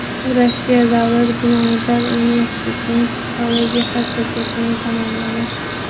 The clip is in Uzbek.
U Rossiya davlat gumanitar universitetining psixologiya fakultetini tamomlagan.